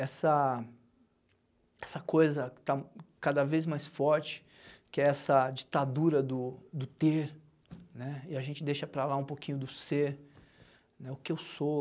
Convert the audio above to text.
Essa essa coisa que está cada vez mais forte, que é essa ditadura do do ter, né, e a gente deixa para lá um pouquinho do ser, o que eu sou.